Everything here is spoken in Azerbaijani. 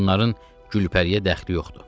Bunların Gülpəriyə dəxli yoxdur.